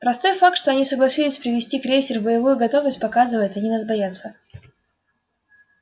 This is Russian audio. простой факт что они согласились привести крейсер в боевую готовность показывает они нас боятся